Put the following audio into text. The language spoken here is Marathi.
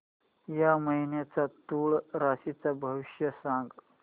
या महिन्याचं तूळ राशीचं भविष्य सांग